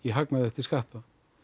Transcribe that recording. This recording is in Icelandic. hagnað eftir skatt það